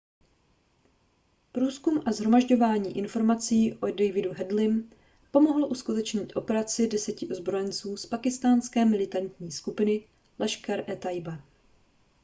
průzkum a shromažďování informací o davidu headleym pomohlo uskutečnit operaci 10 ozbrojenců z pákistánské militantní skupiny laskhar-e-taiba